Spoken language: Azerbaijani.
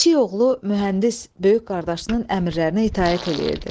Kiçik oğlu mühəndis böyük qardaşının əmrlərinə itaət eləyirdi.